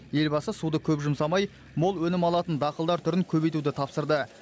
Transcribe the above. елбасы суды көп жұмсамай мол өнім алатын дақылдар түрін көбейтуді тапсырды